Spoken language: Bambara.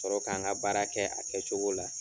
Sɔrɔ k'an ka baara kɛ a kɛ cogo la.